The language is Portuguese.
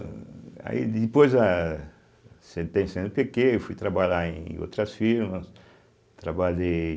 aí depois a cêtem, cêenepêquê, eu fui trabalhar em outras firmas, trabalhei...